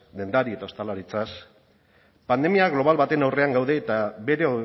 dendari eta ostalaritzaz pandemia global baten aurrean gaude eta bere